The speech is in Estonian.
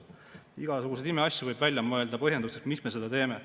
Igasuguseid imeasju võib välja mõelda ja leida põhjendusi, miks me seda teeme.